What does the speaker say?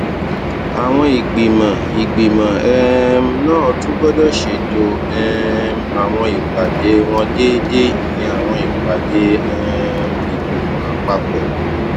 àwọn ìgbìmọ ìgbìmọ um náà tún gbódò ṣètò um àwọn ìpàdé wọn déédéé ìyẹn àwọn ìpàdé um ìgbìmọ àpapò